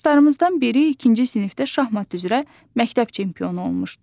Yoldaşlarımızdan biri ikinci sinifdə şahmat üzrə məktəb çempionu olmuşdu.